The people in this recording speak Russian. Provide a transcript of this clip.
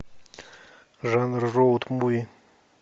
жанр роуд муви